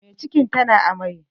Mai cikin ta na amai